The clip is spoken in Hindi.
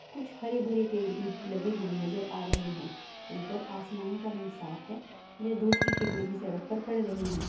कुछ हरे भरे पेड़ भी लगे हुए नज़र आ रहे हैं ऊपर आसमान का रंग साफ है वे धूप की किरने भी सड़क पर पड़ रही हैं।